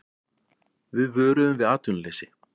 Við vöruðum við atvinnuleysi